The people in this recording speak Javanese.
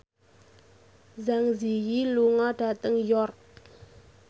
Zang Zi Yi lunga dhateng York